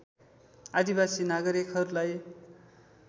आदिवासी नागरिकहरूलाई